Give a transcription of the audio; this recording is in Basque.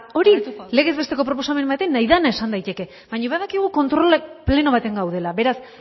hori legez besteko proposamen batean nahi dena esan daiteke baina badakigu kontrol pleno batean gaudela beraz